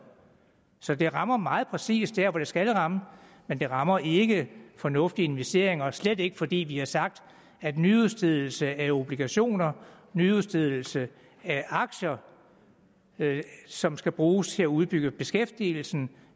så det rammer meget præcist der hvor det skal ramme men det rammer ikke fornuftige investeringer og slet ikke fordi vi har sagt at nyudstedelse af obligationer og nyudstedelse af aktier som skal bruges til at udbygge beskæftigelsen